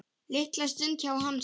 Litla stund hjá Hansa